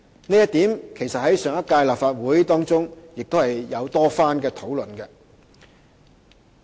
這一點其實在上屆立法會曾經多番討論。